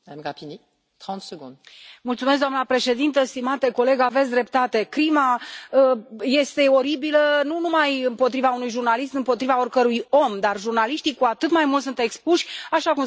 Doamnă președintă, stimate coleg, aveți dreptate crima este oribilă, nu numai împotriva unui jurnalist, împotriva oricărui om, dar jurnaliștii, cu atât mai mult, sunt expuși, așa cum s a spus aici, datorită investigațiilor.